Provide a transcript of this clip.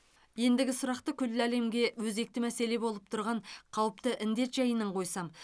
ендігі сұрақты күллі әлемге өзекті мәселе болып тұрған қауіпті індет жайынан қойсам